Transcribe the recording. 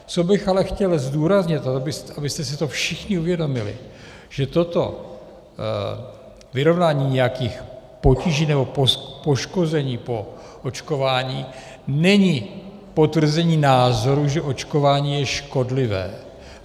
Co bych ale chtěl zdůraznit, abyste si to všichni uvědomili, že toto vyrovnání nějakých potíží nebo poškození po očkování není potvrzení názoru, že očkování je škodlivé.